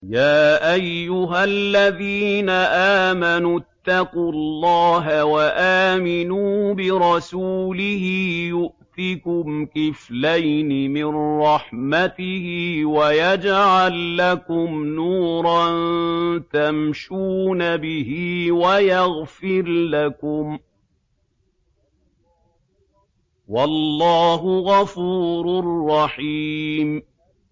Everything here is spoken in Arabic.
يَا أَيُّهَا الَّذِينَ آمَنُوا اتَّقُوا اللَّهَ وَآمِنُوا بِرَسُولِهِ يُؤْتِكُمْ كِفْلَيْنِ مِن رَّحْمَتِهِ وَيَجْعَل لَّكُمْ نُورًا تَمْشُونَ بِهِ وَيَغْفِرْ لَكُمْ ۚ وَاللَّهُ غَفُورٌ رَّحِيمٌ